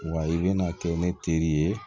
Wa i bɛna kɛ ne teri ye